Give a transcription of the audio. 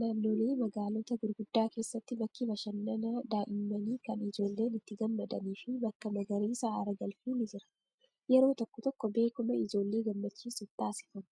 Naannoolee magaalota gurguddaa keessatti bakki bashannanaa daa'immanii kan ijoolleen itti gammadanii fi bakka magariisa aara galfii ni jira. Yeroo tokko tokko beekuma ijoollee gammachiisuuf taasifama.